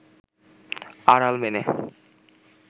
আড়াল মেনে